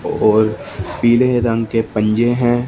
और पीले रंग के पंजे हैं।